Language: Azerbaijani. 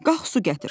Qalx su gətir.